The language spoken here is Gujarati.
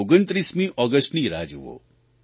29મી ઓગષ્ટની રાહ જુઓ